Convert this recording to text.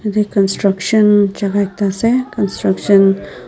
Yate construction jaka ekta ase construction --